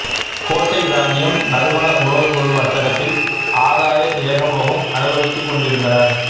கோட்டை இராச்சியம் நறுமண உணவுப் பொருள் வர்த்தகத்தில் ஆதாய ஏகபோகம் அனுபவித்துக் கொண்டிருந்தனர்